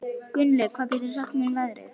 Gunnlöð, hvað geturðu sagt mér um veðrið?